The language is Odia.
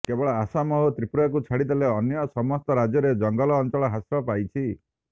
କେବଳ ଆସାମ ଓ ତ୍ରିପୁରାକୁ ଛାଡ଼ିଦେଲେ ଅନ୍ୟ ସମସ୍ତ ରାଜ୍ୟରେ ଜଙ୍ଗଲ ଅଞ୍ଚଳ ହ୍ରାସ ପାଇଛି